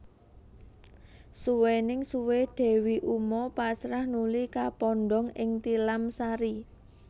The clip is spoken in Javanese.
Suwéning suwé Dewi uma pasrah nuli kapondhong ing tilamsari